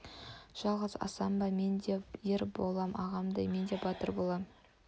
жалғыз асан ба мен де ер болам ағамдай мен де батыр болам